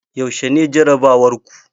Yaushe ne jarabawar ku?